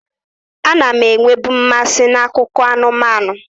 A na m enwebu mmasị n'akụkọ anụmanụ.